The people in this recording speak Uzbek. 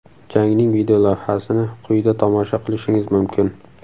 Jangning videolavhasini quyida tomosha qilishingiz mumkin.